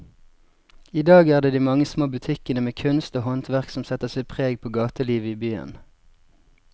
I dag er det de mange små butikkene med kunst og håndverk som setter sitt preg på gatelivet i byen.